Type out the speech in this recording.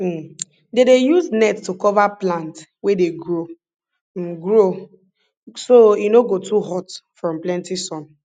um dem dey use net to cover plant wey dey grow um grow um so e no go too hot from plenty sun